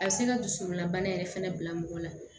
A bɛ se ka dusukunnabana yɛrɛ fɛnɛ bila mɔgɔ la